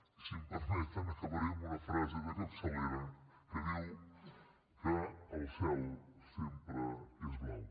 i si em permeten acabaré amb una frase de capçalera que diu que el cel sempre és blau